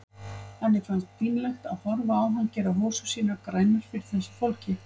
Henni fannst pínlegt að horfa á hann gera hosur sínar grænar fyrir þessu fólki.